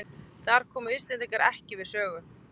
Þar komu Íslendingar ekki við sögu